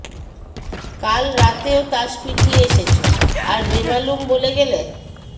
কাল রাত্রেও তাস পিটিয়ে এসেছ আর বেমালুম বলে গেলে